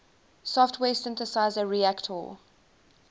software synthesizer reaktor